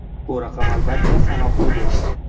Bu raqam albatta, sanoqli bo‘ladi.